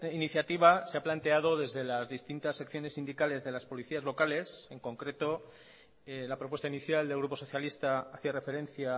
iniciativa se ha planteado desde las distintas secciones sindicales de las policías locales en concreto la propuesta inicial del grupo socialista hacía referencia